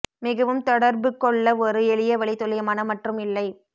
மிகவும் தொடர்பு கொள்ள ஒரு எளிய வழி துல்லியமான மற்றும் இல்லை